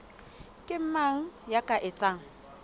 ke mang ya ka etsang